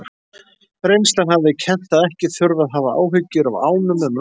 Reynslan hafði kennt að ekki þurfti að hafa áhyggjur af ánum um nóttina.